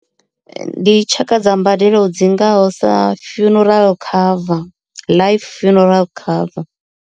Ndi tshaka dza mbadelo dzi ngaho sa funeral cover life funeral cover.